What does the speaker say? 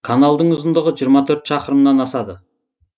каналдың ұзындығы жиырма төрт шақырымнан асады